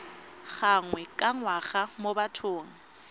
gangwe ka ngwaga mo bathong